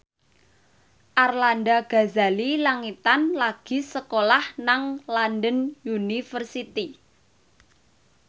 Arlanda Ghazali Langitan lagi sekolah nang London University